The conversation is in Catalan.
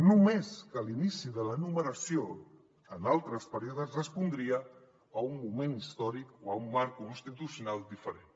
només que l’inici de la numeració en altres períodes respondria a un moment històric o a un marc constitucional diferent